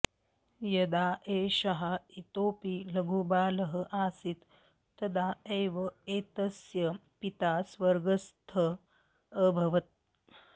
यदा एषः इतोऽपि लघुबालः आसीत् तदा एव एतस्य पिता स्वर्गस्थः अभवत्